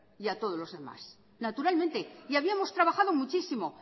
y a todos los demás naturalmente y habíamos trabajado muchísimo